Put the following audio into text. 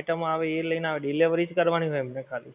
item આવે એ જ લઈને આવે delivery કરવાની જ હોય એમને ખાલી